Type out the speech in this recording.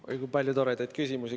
Oi, kui palju toredaid küsimusi.